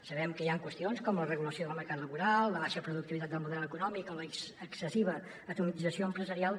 sabem que hi han qüestions com la regulació del mercat laboral la baixa productivitat del model econòmic o l’excessi va atomització empresarial